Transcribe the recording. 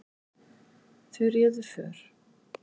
Þau réðu för.